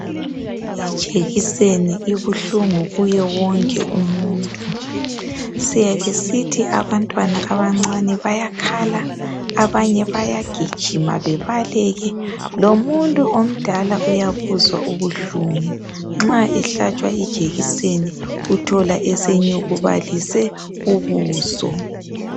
Ijekiseni ikuhlungu kuye wonke umuntu. Siyakhe sithi abantwana bayakhala , abanye bagijima bebale. Ngomuntu omdala uyabuzwa ubuhlungu. Nxa ehlatshwa ijekiseni uthola esenyukubalise ubuso.